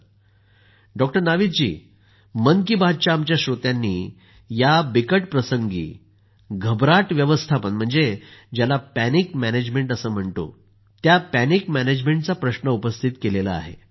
Modi ji doctor Navid मन की बातच्या आमच्या श्रोत्यांनी या बिकट प्रसंगी घबराट व्यवस्थापन म्हणजे पॅनिक मॅनेजमेंटचा प्रश्न उपस्थित केला आहे